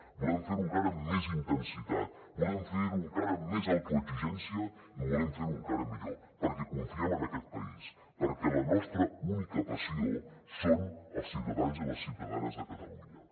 volem fer ho encara amb més intensitat volem fer ho encara amb més autoexigència i volem ferho encara millor perquè confiem en aquest país perquè la nostra única passió són els ciutadans i les ciutadanes de catalunya